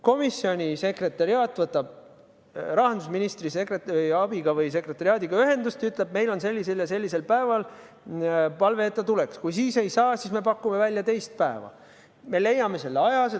Komisjoni sekretariaat võtab rahandusministri abi või sekretariaadiga ühendust ja ütleb, et meil on sellisel ja sellisel päeval palve, et tuleks, kui siis ei saa, siis pakume välja mõne teise päeva, me leiame selle aja.